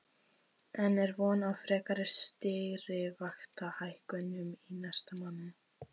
En er von á frekari stýrivaxtahækkunum í næsta mánuði?